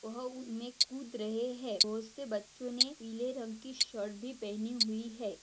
वह उनमें कूद रहे है बहुत से बच्चो ने पीले रंग की शर्ट भी पहनी हुई है।